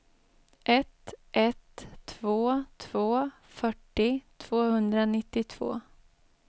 ett ett två två fyrtio tvåhundranittiotvå